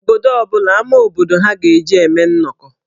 Obodo ọ bụla amá obodo ha ga-eji eme nnọkọ.